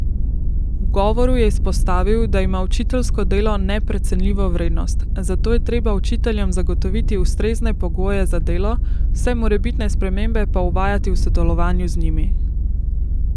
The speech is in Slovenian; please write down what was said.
V govoru je izpostavil, da ima učiteljsko delo neprecenljivo vrednost, zato je treba učiteljem zagotoviti ustrezne pogoje za delo, vse morebitne spremembe pa uvajati v sodelovanju z njimi.